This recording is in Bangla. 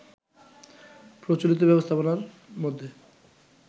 প্রচলিত ব্যবস্থাপনার মধ্যে